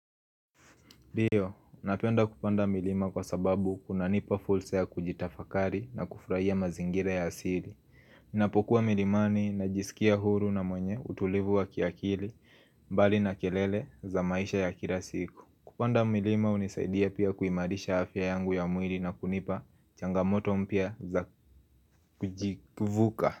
Ndio, napenda kupanda milima kwa sababu kuna nipa fursa ya kujitafakari na kufurahia mazingira ya asili ninapokuwa milimani najisikia huru na mwenye utulivu wa kiakili mbali na kelele za maisha ya kila siku Kupanda milima hunisaidia pia kuimarisha afya yangu ya mwili na kunipa changamoto mpya za kujivuka.